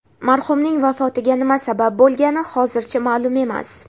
Marhumning vafotiga nima sabab bo‘lgani hozircha ma’lum emas.